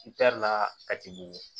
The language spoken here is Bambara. la a ti bugu